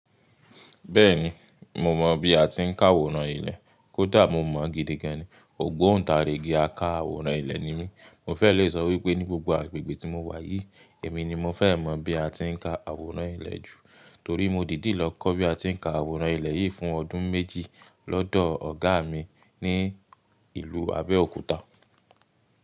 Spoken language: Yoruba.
Bẹ́ẹ̀ni, mo mọ bí a ti ń ka àwòrán ilẹ̀, kó dà mọ̀ mọ́ gidi gan ni, ògbóǹ tarigi aka àwòrán ilẹ̀ ni mí. Mo fẹ́ le sọ wípé ní gbogbo agbègbè tí mo wà yìí, èmi ni mo fẹ́ mọ̀ bí a ti ń ka àwòrán ilẹ̀ jù. Torí mo dìdí lọ kọ́ bí a ti ń ka àwòrán ilẹ̀ yìí fún ọdún méjì lọ́dọ̀ ọ̀gá mi ní ìlú Abẹ́òkúta.